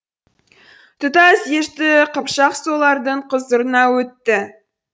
тұтас дешті қыпшақ солардың құзырына өтті